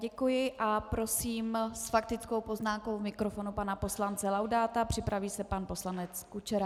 Děkuji a prosím s faktickou poznámkou k mikrofonu pana poslance Laudáta, připraví se pan poslanec Kučera.